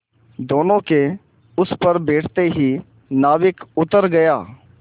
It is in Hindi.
दोेनों के उस पर बैठते ही नाविक उतर गया